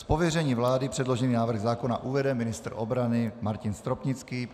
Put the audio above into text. Z pověření vlády předložený návrh zákona uvede ministr obrany Martin Stropnický.